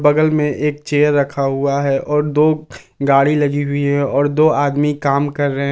बगल में एक चेयर रखा हुआ है और दो गाड़ी लगी हुई है और दो आदमी काम कर रहे हैं।